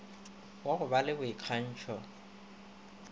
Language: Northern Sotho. wa go ba le boikgantšho